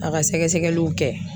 A ka sɛgɛsɛgɛliw kɛ.